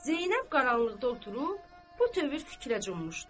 Zeynəb qaranlıqda oturub bu tövr fikrə cummuşdu.